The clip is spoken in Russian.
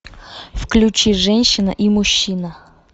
включи женщина и мужчина